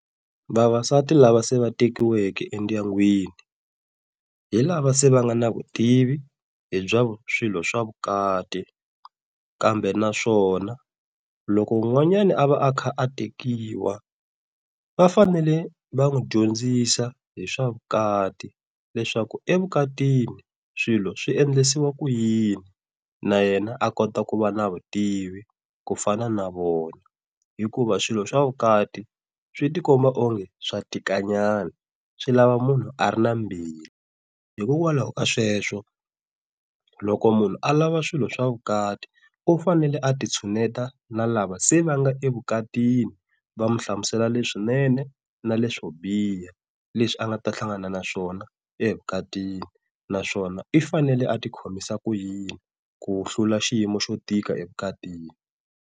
Vavasati lava se va tekiweke endyangwini hi lava se va nga na vutivi hi swilo swa vukati. Kambe naswona loko un'wanyani a va a kha a tekiwa va fanele va n'wi dyondzisa hi swa vukati leswaku evukatini swilo swi endlisiwa ku yini na yena a kota ku va na vutivi ku fana na vona. Hikuva swilo swa vukati swi tikomba onge swa tikanyana, swi lava munhu a ri na mbilu. Hikokwalaho ka sweswo loko munhu alava swilo swa vukati u fanele a ti tshuneta na lava se va nga evukatini va mu hlamusela leswinene na leswo biha leswi a nga ta hlangana naswona evukatini naswona i fanele a ti khomisa ku yini ku hlula xiyimo xo tika evukatini.